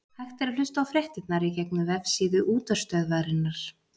hægt er að hlusta á fréttirnar í gegnum vefsíðu útvarpsstöðvarinnar